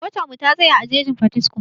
Motar mu ta tsaya a jejin Potiskum